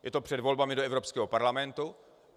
Je to před volbami do Evropského parlamentu.